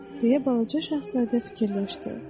deyə Balaca Şahzadə fikirləşdi.